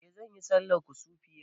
Eh za ayi sallar kusufi yau